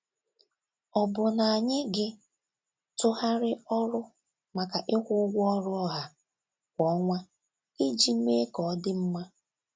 Ọ̀ bụ na anyị gị tụgharị ọrụ maka ịkwụ ụgwọ ọrụ ọha kwa ọnwa iji mee ka ọ dị mma?